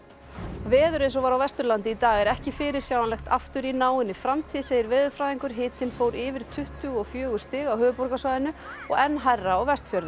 veður eins og var á Vesturlandi í dag er ekki fyrirsjáanlegt aftur í náinni framtíð segir veðurfræðingur hitinn fór yfir tuttugu og fjögur stig á höfuðborgarsvæðinu og enn hærra á Vestfjörðum